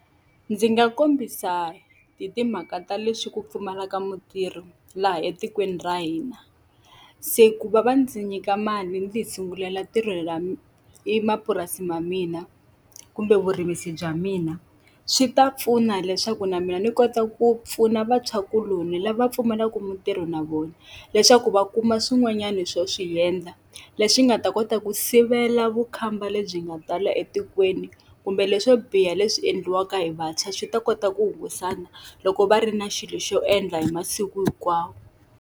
Ndzi nga kombisa hi timhaka ta leswi ku pfumalaka mutirhi laha etikweni ra hina, se ku va va ndzi nyika mali ndzi tisungulela mapurasi ma mina kumbe vurimisi bya mina, swi ta pfuna leswaku na mina ni kota ku pfuna vantshwakuloni lava pfumalaka mintirho na vona. Leswaku va kuma swin'wanyani swo swi endla leswi nga u nga ta kota ku sivela vukhamba lebyi nga tala etikweni, kumbe leswo biha leswi endliwaka hi vantshwa swi ta kota ku hungutana loko va ri na xilo xo endla hi masiku hinkwawo.